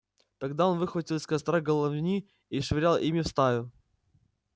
тогда он выхватил из костра головни и швырял ими в стаю